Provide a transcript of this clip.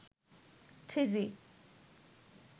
three G